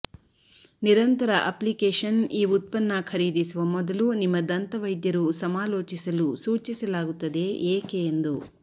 ನಿರಂತರ ಅಪ್ಲಿಕೇಶನ್ ಈ ಉತ್ಪನ್ನ ಖರೀದಿಸುವ ಮೊದಲು ನಿಮ್ಮ ದಂತವೈದ್ಯರು ಸಮಾಲೋಚಿಸಲು ಸೂಚಿಸಲಾಗುತ್ತದೆ ಏಕೆ ಎಂದು